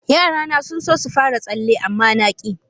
Yarana sun so su fara tsalle, amma na ki.